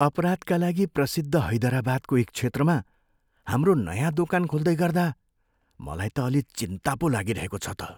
अपराधका लागि प्रसिद्ध हैदराबादको एक क्षेत्रमा हाम्रो नयाँ दोकान खोल्दै गर्दा मलाई त अलि चिन्ता पो लागिरहेको छ त।